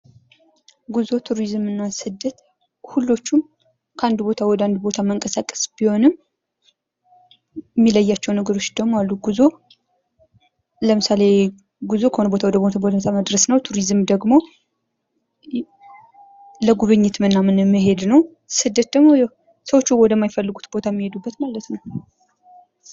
ጉዞ፣ ቱሪዝም እና ስደት ሁሉዎችም ከአንድ ቦታ ወደ አንድ ቦታ መንቀሳቀስ ቢሆንም የሚለያቸው ነገሮች ደግሞ አሉ። ጉዞ ለምሳሌ ጉዞ ከሆነ ቦታ ወደ ሆነ ቦታ መድረስ ነው። ቱሪዝም ደግሞ ለጉብኝት ምናም መሔድ ነው። ስደት ደግሞ ያው ሰዎቹ ወደ ማይፈልጉበት ቦታ እሚሔዱበት ነው።